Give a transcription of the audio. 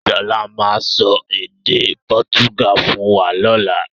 Sọlá máa sọ èdè pọ́túgà fún wa lọ́la.